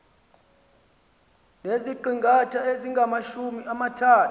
neziqingatha ezingamajumi amathathu